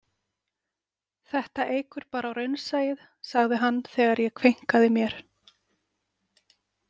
Þetta eykur bara á raunsæið, sagði hann þegar ég kveinkaði mér.